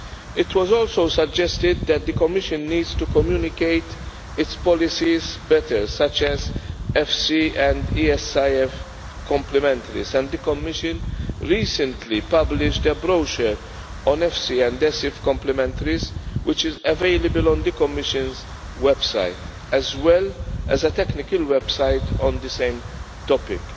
It was also suggested that the Commission needs to communicate its policies better such as FC and ESIF complementarities and the Commission recently published a brochure on FC and ESIF complementarities which is available on the Commission's website as well as a technical website on the same topic.